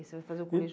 Você vai fazer o